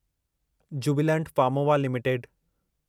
Jubilant Pharmova limited